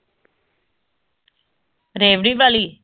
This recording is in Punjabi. ਰੇਬੜੀ ਵਾਲੀ